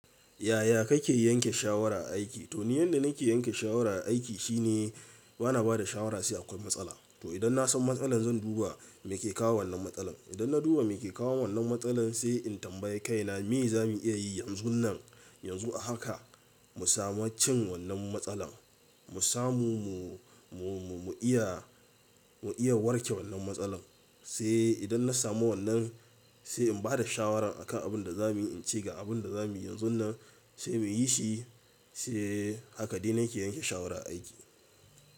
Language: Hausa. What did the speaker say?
Yaya kake yanke shawara a aiki? To ni yanda nake yanke shawara a aiki shine bana bada shawara sai akwai matsala. To idan na san matsalar zan duba me ke kawo wannan matsalan. Idan na duba me ke kawo wannan matsalar sai in tambayi kaina me za mu iya yi yanzunnan. Yanzu a haka mu samu cin wannan matsalan. Mu samu mu, mu, mu iya, mu iya warke wannan matsalan. Sai idan na samu wannan sai in bada shawaran akan abin da za mu yi, in ce ga abin da za mu yi yanzunnan. Sai mu yi shi. Sai haka dai nake yanke shawara a aiki.